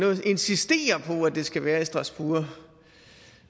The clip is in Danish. insisterer på at det skal være i strasbourg